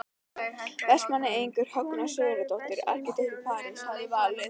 Vestmanneyingurinn Högna Sigurðardóttir arkitekt í París hafði valið.